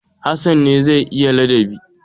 Hassan ne zai yi ladabi.